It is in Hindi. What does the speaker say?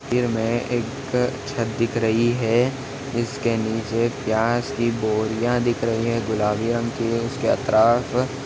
इस तस्वीर मे एक छत दिख रही है जिसके नीचे प्याज की बोरिया रखी दिख रही है गुलाबी रंग की है उसके अतराफ़--